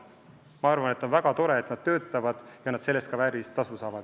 Ma arvan, et on väga tore, et nad töötavad ja selle eest ka väärilist tasu saavad.